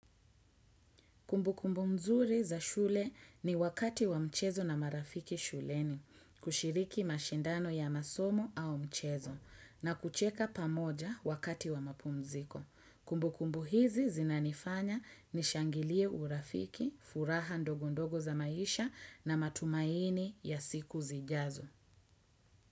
Kumbu kumbu mzuri za shule ni wakati wa mchezo na marafiki shuleni, kushiriki mashindano ya masomo au mchezo, na kucheka pamoja wakati wa mapumziko. Kumbu kumbu hizi zinanifanya nishangilie urafiki, furaha ndogondogo za maisha na matumaini ya siku zijazo.